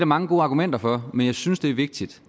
mange gode argumenter for men jeg synes det er vigtigt